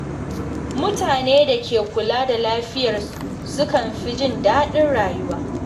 Mutane da ke kula da lafiyarsu sukan fi jin daɗin rayuwa.